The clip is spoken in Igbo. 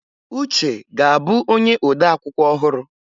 Uche ga-abụ onye ode akwụkwọ ọhụrụ.